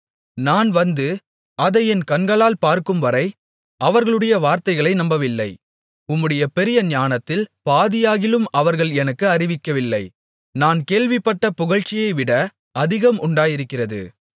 நான் வந்து அதை என் கண்களால் பார்க்கும்வரை அவர்களுடைய வார்த்தைகளை நம்பவில்லை உம்முடைய பெரிய ஞானத்தில் பாதியாகிலும் அவர்கள் எனக்கு அறிவிக்கவில்லை நான் கேள்விப்பட்ட புகழ்ச்சியைவிட அதிகம் உண்டாயிருக்கிறது